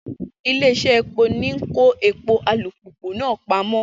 Ilé-iṣẹ́ epo ń kó epo alùpùpù náà pamọ́.